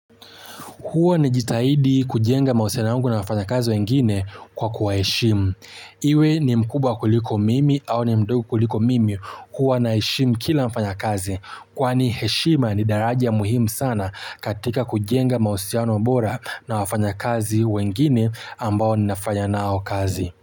Huwa najitahidi kujenga mawasiliano yangu na wafanya kazi wengine kwa kuwa heshimu. Iwe ni mkubwa kuliko mimi au ni mdogo kuliko mimi huwa na heshimu kila mfanyakazi. Kwani heshima ni daraja muhimu sana katika kujenga mahusiano bora na wafanyakazi wengine ambao nafanya nao kazi.